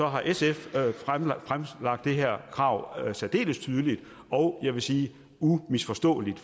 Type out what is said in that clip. har sf fremlagt det her krav særdeles tydeligt og jeg sige umisforståeligt